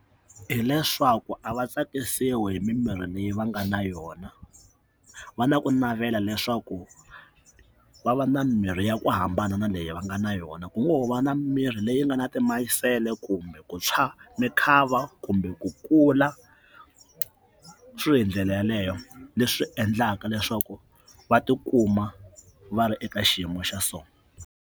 Hileswaku a va tsakisiwi hi mimirhi leyi va nga na yona va na ku navela leswaku va va na mirhi ya ku hambana na leyi va nga na yona ku ngo ho va na mimirhi leyi nga na timayisele kumbe ku tshwa mukhava kumbe ku kula xilo hi ndlela yeleyo leswi endlaka leswaku va tikuma va ri eka xiyimo xa so.